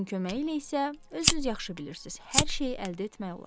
Pulun köməyi ilə isə özünüz yaxşı bilirsiz, hər şeyi əldə etmək olar.